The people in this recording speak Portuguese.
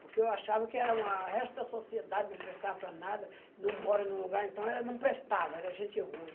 Porque eu achava que era uma, o resto da sociedade, não prestava para nada, não mora num lugar, então não prestava, era gente ruim.